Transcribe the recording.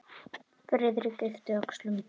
Friðrik yppti öxlum.